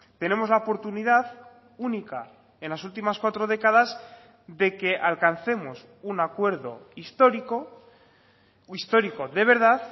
tenemos la oportunidad única en las últimas cuatro décadas de que alcancemos un acuerdo histórico histórico de verdad